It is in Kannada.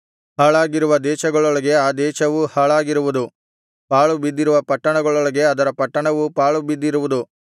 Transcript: ಹಾಳಾಗಿರುವ ದೇಶಗಳೊಳಗೆ ಆ ದೇಶವೂ ಹಾಳಾಗಿರುವುದು ಪಾಳುಬಿದ್ದಿರುವ ಪಟ್ಟಣಗಳೊಳಗೆ ಅದರ ಪಟ್ಟಣಗಳೂ ಪಾಳು ಬಿದ್ದಿರುವವು